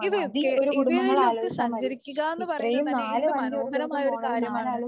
ഇവയൊക്കെ ഇവയിലൊക്കെ സഞ്ചരിക്കുകാന്ന് പറയുന്നത് തന്നെ എന്ത് മനോഹരമായൊരു കാര്യമാണ്.